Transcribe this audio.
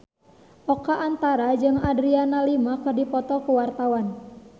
Oka Antara jeung Adriana Lima keur dipoto ku wartawan